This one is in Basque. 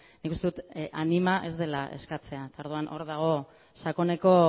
nik uste dut anima ez dela eskatzea eta orduan hor dago sakoneko